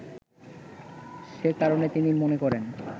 সে কারণে তিনি মনে করেন